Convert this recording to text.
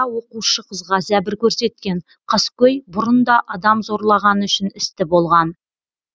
оқушы қызға зәбір көрсеткен қаскөй бұрын да адам зорлағаны үшін істі болған